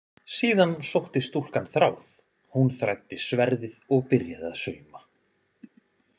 Síðan sótti stúlkan þráð, hún þræddi sverðið og byrjaði að sauma.